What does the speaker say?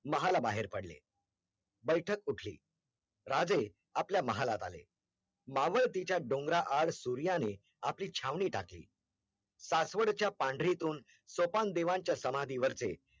महला बाहेर पडले बैठक उठली राजे आपल्या महालात आले मावळतीच्या डोंगराआड़ सूर्याने आपली छावणी टाकली सासवडच्या पंढरीतून सोपान देवांच्या समाधी वर